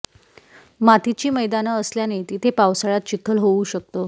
मातीची मैदानं असल्याने तिथे पावसाळ्यात चिखल होऊ शकतो